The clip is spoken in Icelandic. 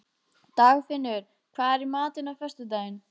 Dagfinnur, hvað er í matinn á föstudaginn?